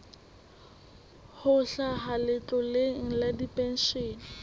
ho hlaha letloleng la dipenshene